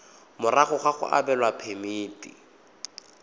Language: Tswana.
morago ga go abelwa phemiti